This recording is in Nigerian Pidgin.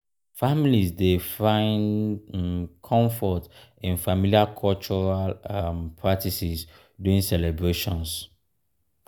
families dey find um comfort in familiar cultural um practices during celebrations.